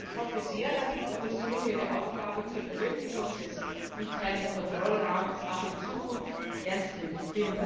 Ich hoffe sehr, dass die Kommission ihre Aufgabe zur Verwirklichung des internen Kontrollrahmens auch in Zukunft ernst nimmt.